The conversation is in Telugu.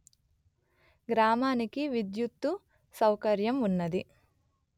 గ్రామానికి విద్యుత్తు సౌకర్యం వున్నది